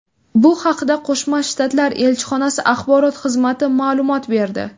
Bu haqda Qo‘shma shtatlar elchxonasi axborot xizmati ma’lumot berdi.